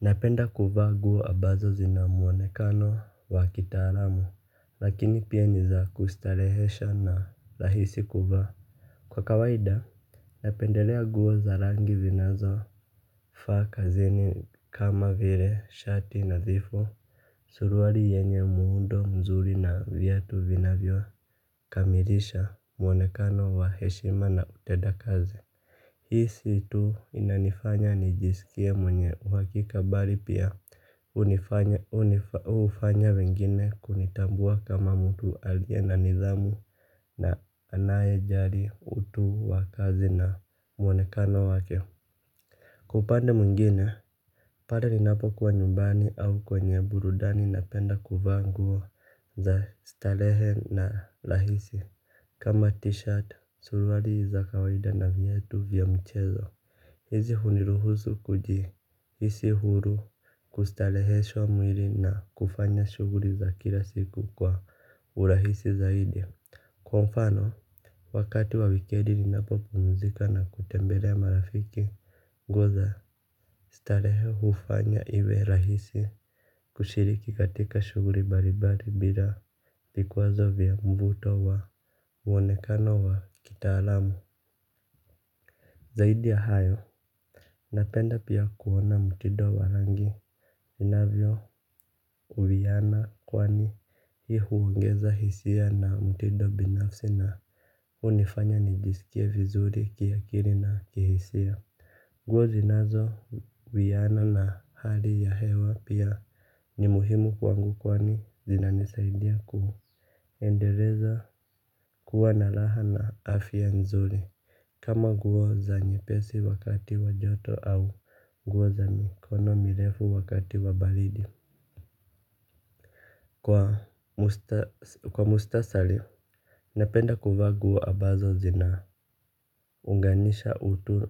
Napenda kuvaa nguo ambazo zina muonekano wa kitaalamu, lakini pia niza kustarehesha na rahisi kuvaa. Kwa kawaida, napendelea nguo za rangi zinazo faa kazini kama vile, shati nadhifu, suruari yenye muundo mzuri na viatu vinavyo kamirisha muonekano wa heshima na utenda kazi. Hii si tu inanifanya nijiskie mwenye uhakika bali pia unifanya ufanya wengine kunitambua kama mtu aliye na nidhamu na anaye jali utu wakazi na mwonekano wake. Kwa upande mwingine, pale ninapo kwa nyumbani au kwenye burudani napenda kuvaa nguo za starehe na rahisi. Kama t-shirt, surwari za kawaida na viatu vya mchezo. Hizi huniruhusu kuji hisi huru kustareheshwa mwili na kufanya shughuri za kila siku kwa urahisi zaidi. Kwa mfano, wakati wa wikedi ni napopumzika na kutembelea marafiki. Nguo za, starehe ufanya iwe rahisi kushiriki katika shuguli balibali bila vikwazo vya mvuto wa uonekano wa kita alamu. Zaidi ya hayo napenda pia kuona mtido wa rangi inavyo uwiana kwani hii huongeza hisia na mtido binafsi na unifanya nijiskie vizuri kia kili na kihisia. Nguo zinazo wiana na hali ya hewa pia ni muhimu kwangu kwani zinanisaidia kuendeleza kuwa naraha na afya nzuri. Kama nguo za nye pesi wakati wa joto au nguo za mikono mirefu wakati wa balidi. Kwa mustasari napenda kuvaa nguo ambazo zina unganisha utu